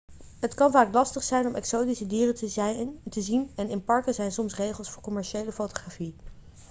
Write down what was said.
het kan vaak lastig zijn om exotische dieren te zien en in parken zijn soms regels voor commerciële fotografie